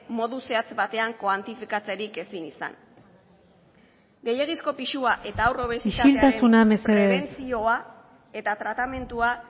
modu zehatz batean koantifikatzerik ezin izan gehiegizko pisua eta haur obesitatearen isiltasuna mesedez prebentzioa eta tratamendua